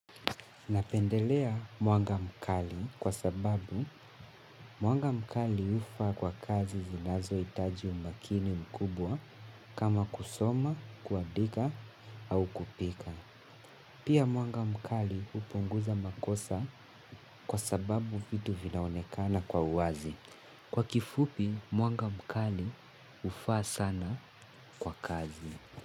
Napendelea mwanga mkali kwa sababu mwanga mkali hufaa kwa kazi zinazohitaji umakini mkubwa kama kusoma, kuandika au kupika. Pia mwanga mkali hupunguza makosa kwa sababu vitu vinaonekana kwa uwazi. Kwa kifupi mwanga mkali hufaa sana kwa kazi.